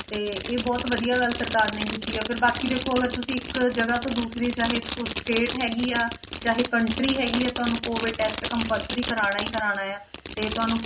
ਤੇ ਇਹ ਬਹੁਤ ਵਧੀਆ ਗੱਲ ਸਰਕਾਰ ਨੇ ਕੀਤੀ ਆ, ਫਿਰ ਬਾਕੀ ਦੇਖੋ ਅਗਰ ਤੁਸੀਂ ਇੱਕ ਜਗ੍ਹਾ ਤੋਂ ਦੂਸਰੀ ਚਾਹੇ ਉਹ state ਹੈਗੀ ਆ, ਚਾਹੇ country ਹੈਗੀ ਆ, ਤੁਹਾਨੂੰ COVID test compulsory ਕਰਵਾਉਣਾ ਹੀ ਕਰਵਾਉਣਾ ਹੈ, ਤੇ ਤੁਹਾਨੂੰ